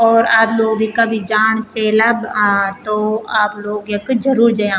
और आप लोग भी कभी जाण चेला आं तो आप लोग यख जरूर जयां।